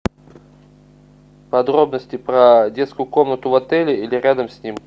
подробности про детскую комнату в отеле или рядом с ним